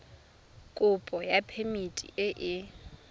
kopo ya phemiti e e